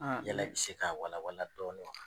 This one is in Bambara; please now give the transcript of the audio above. Yala bɛ se k'a walawala dɔɔni wa?